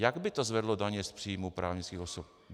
Jak by to zvedlo daně z příjmů právnických osob?